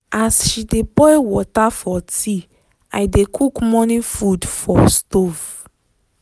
as she dey boil water for tea i dey cook morning food for stove.